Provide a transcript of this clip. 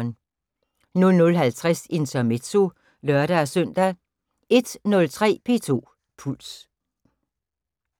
00:50: Intermezzo (lør-søn) 01:03: P2 Puls